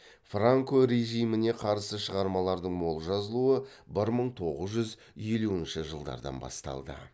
франко режиміне қарсы шығармалардың мол жазылуы бір мың тоғыз жүз елуінші жылдардан басталды